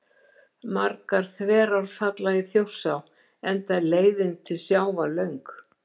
Margar þverár falla í Þjórsá enda er leiðin til sjávar löng.